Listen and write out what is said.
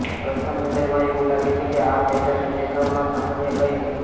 પ્રથમ નજરમાં એવું લાગે છે કે આ પહેલાની દેખાવમાં સામાન્ય કંઈ નથી